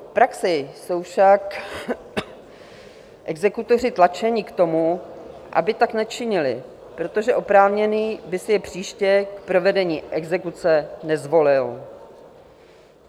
V praxi jsou však exekutoři tlačeni k tomu, aby tak nečinili, protože oprávněný by si je příště k provedení exekuce nezvolil.